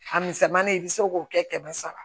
A misɛnmani i bɛ se k'o kɛ kɛmɛ saba